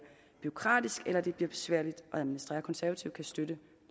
bureaukratisk eller besværligt at administrere konservative kan støtte